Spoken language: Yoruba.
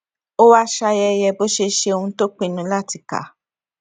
ó wá ṣayẹyẹ bó ṣe ṣe ohun tó pinnu láti kà